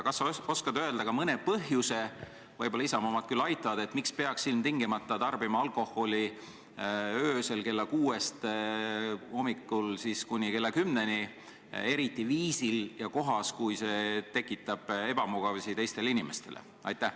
Kas sa oskad öelda ka mõne põhjuse – võib-olla Isamaa omad aitavad –, miks peaks ilmtingimata tarbima alkoholi hommikul kella kuuest kuni kella kümneni, eriti sellisel viisil ja sellises kohas, et see tekitab ebamugavusi teistele inimestele?